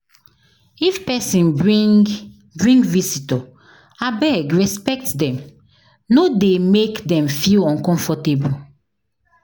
If pesin bring bring visitor, abeg respect dem, no dey make dem feel uncomfortable.